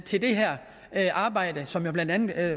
til det her arbejde som jo blandt andet